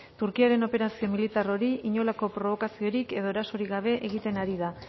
turkiaren operazio militar hori inolako probokaziorik edo erasorik gabe egiten ari da